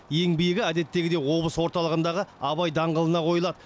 ең биігі әдеттегідей облыс орталығындағы абай даңғылына қойылады